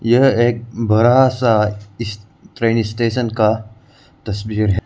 यह एक बड़ा सा इस ट्रेन स्टेशन का तस्वीर है।